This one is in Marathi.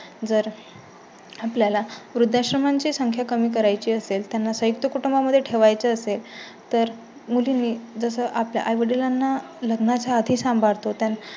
जर आपल्या ला वृद्धाश्रमांची संख्या कमी करायची असेल, त्यांना संयुक्त कुटुंबा मध्ये ठेवाय चे असेल तर मुली आपल्या आई वडिलांना लग्नाच्या आधी सांभाळतो त